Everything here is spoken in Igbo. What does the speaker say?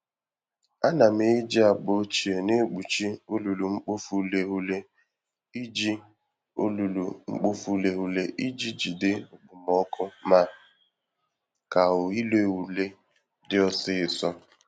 Ana m eji akpa ochie na-ekpuchi olulu-mkpofu-ureghure iji olulu-mkpofu-ureghure iji jide okpomọkụ ma ka ire ure dị ọsịsọ